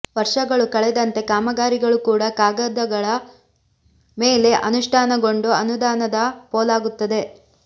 ವರ್ಷಗಳು ಕಳೆದಂತೆ ಕಾಮಗಾರಿಗಳೂ ಕೂಡ ಕಾಗದಗಳ ಮೇಲೆ ಅನುಷ್ಠಾನಗೊಂಡು ಅನುದಾನದ ಪೋಲಾಗುತ್ತದೆ